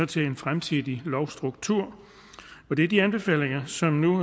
til en fremtidig lovstruktur det er de anbefalinger som nu